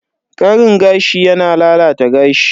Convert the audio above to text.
Karin gashi yana lalata gashi.